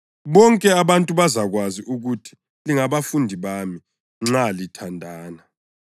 Bonke abantu bazakwazi ukuthi lingabafundi bami nxa lithandana.”